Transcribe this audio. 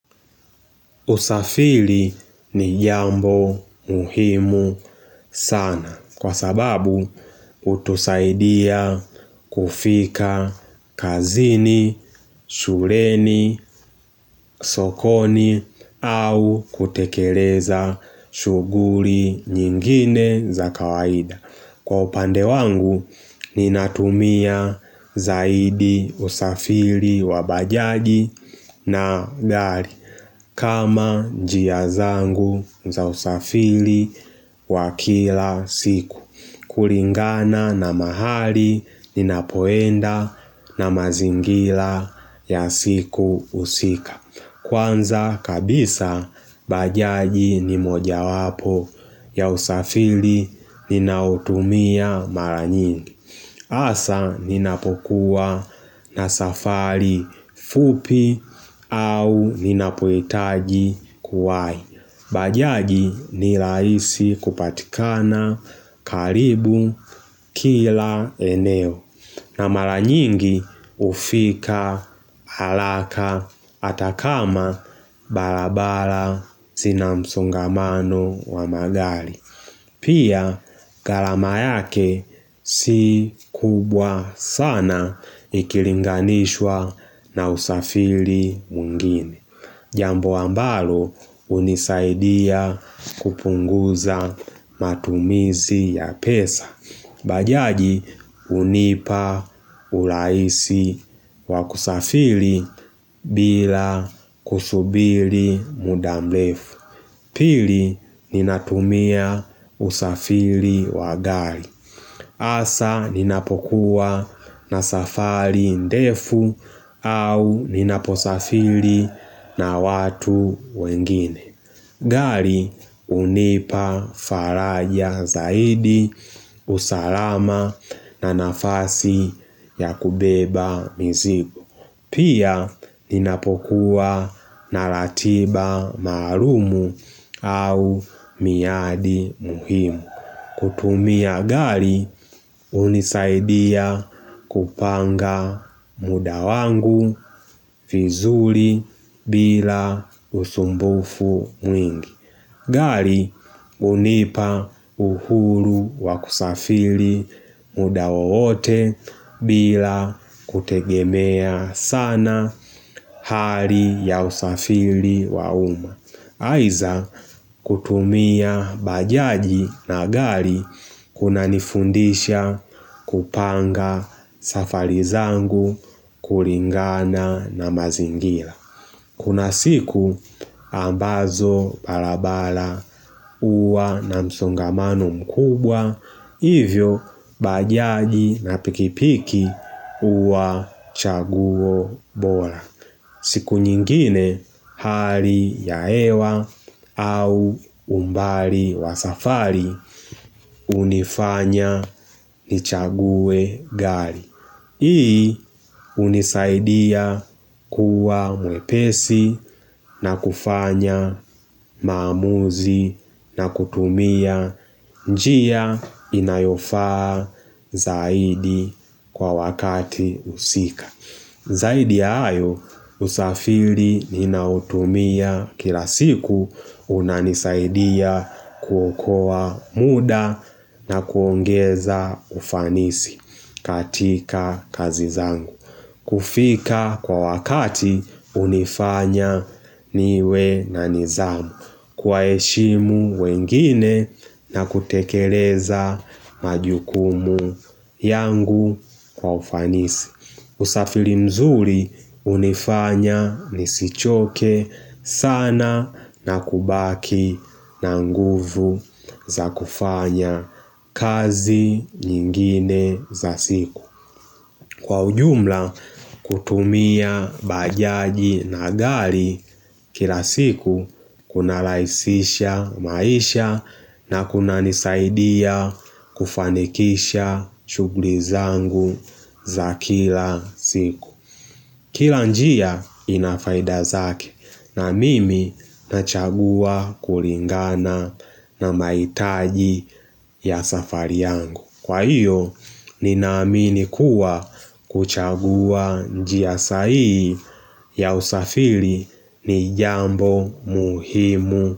Usafili ni jambo muhimu sana kwa sababu hutusaidia kufika kazini, shuleni, sokoni au kutekeleza shuguri nyingine za kawaida. Kwa upande wangu ninatumia zaidi usafili wa bajaji na gari kama jia zangu za usafili wa kila siku Kuringana na mahali ninapoenda na mazingila ya siku usika Kwanza kabisa bajaji ni moja wapo ya usafili ninaotumia mara nyingi. Asa ninapokuwa na safari fupi au ninapohitaji kuwai. Bajaji ni raisi kupatikana karibu kila eneo na maranyingi ufika haraka atakama barabara zinamsongamano wa magari. Pia garama yake si kubwa sana ikilinganishwa na usafiri mwengine Jambo ambalo unisaidia kupunguza matumizi ya pesa Bajaji unipa urahisi wakusafiri bila kusubiri mudamrefu Pili ninatumia usafiri wa gari. Asa ninapokuwa na safari ndefu au ninaposafiri na watu wengine. Gari unipa faraja zaidi usalama na nafasi ya kubeba mzigo. Pia ninapokuwa naratiba marumu au miadi muhimu. Kutumia gari unisaidia kupanga mudawangu vizuri bila usumbufu mwingi. Gali unipa uhuru wakusafiri mudawowote bila kutegemea sana hari ya usafiri wauma. Aiza kutumia bajaji na gari kuna nifundisha kupanga safarizangu kuringana na mazingira. Kuna siku ambazo barabara uwa na msungamano mkubwa, hivyo bajaji na pikipiki uwa chaguwo bora. Siku nyingine hari ya hewa au umbali wa safari, unifanya ni chaguwe gari. Hii unisaidia kuwa mwepesi na kufanya mamuzi na kutumia njia inayofaa zaidi kwa wakati usika. Zaidi ya hayo, usafiri ninautumia kila siku unanisaidia kuokoa muda na kuongeza ufanisi katika kazi zangu. Kufika kwa wakati unifanya niwe na nizamu, kwa heshimu wengine na kutekeleza majukumu yangu kwa ufanisi. Usafiri mzuri unifanya nisichoke sana na kubaki na nguvu za kufanya kazi nyingine za siku. Kwa ujumla kutumia bajaji na gari kila siku kuna rahisisha maisha na kuna nisaidia kufanikisha chugli zangu za kila siku Kila njia inafaidazake na mimi nachagua kuringana na maitaji ya safari yangu Kwa iyo, ninaamini kuwa kuchagua njia sahihi ya usafiri ni jambo muhimu.